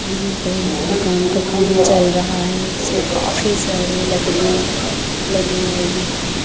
यहाँ पे एक दुकान का काम चल रहा है जिसमें काफी सारे लकड़ियां लगे हुए भी हैं।